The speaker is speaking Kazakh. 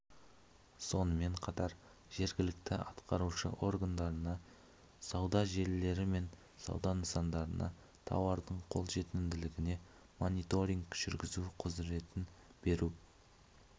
сонымен қатар жергілікті атқарушы органдарына сауда желілері мен сауда нысандарында тауардың қолжетімділігіне мониторинг жүргізу құзыретін беру